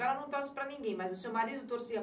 Só ela não torce para ninguém, mas o seu marido torcia